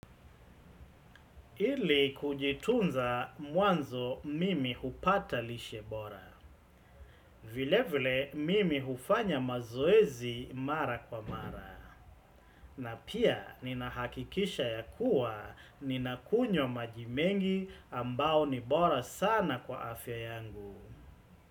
Ili kujitunza mwanzo mimi hupata lishebora. Vile vile mimi hufanya mazoezi mara kwa mara. Na pia nina hakikisha ya kuwa nina kunyo majimengi ambao ni bora sana kwa afya yangu.